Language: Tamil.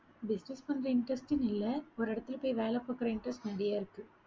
business பண்ற interest ன்னு இல்லை. ஒரு இடத்துல போய் வேலை பார்க்கிற interest நிறைய இருக்கு